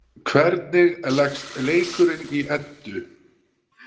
Hvernig leggst leikurinn í Eddu?